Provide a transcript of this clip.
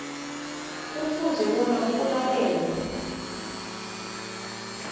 kufuze bona kulalelwe